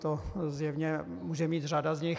To zjevně může mít řada z nich.